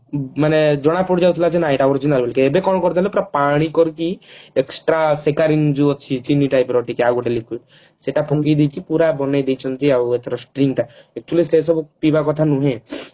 ମାନେ ଜଣାପଡି ଯାଉଥିଲା ଯେ ନା ଏଟା original ବୋଲିକି ଏବେ କଣ କରିଦେଲେ ପୁରା ପାଣି କରିକି extra ଶିକାରିନ ଯୋଉ ଅଛି ଚିନି type ର ଆଉ ଗୋଟେ ଯୋଉ liquid ସେଟା ପୁଣି ଦେଇ ଦେଇକି ପୁରା ବନେଇ ଦେଇଛନ୍ତି ଆଉ ଏଥର string ଟା କିନ୍ତୁ ସେ ସବୁ ପିଇବା କଥା ନୁହେଁ